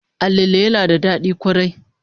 Alale yana da dadi kwarai